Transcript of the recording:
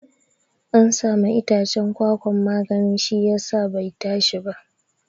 An sama iccen kwakwan magani siyasa bai tashi ba